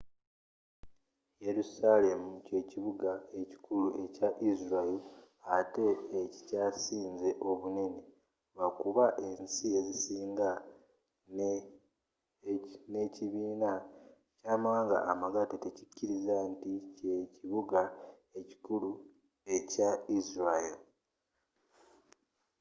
yerusalemu ky'ekibuga ekikulu ekya israel atte ekikyasinze obunene lwakuba ensi ezisinga ne ekibiina ky'amawaanga amagatte tezikiriza nti kye ekibuga ekikulu ekya israel